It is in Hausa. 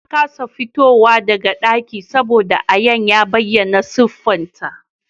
Ta kasa fitowa daga dakin saboda ayan ya bayyana siffarta